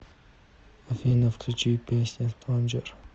афина включи песня стронджер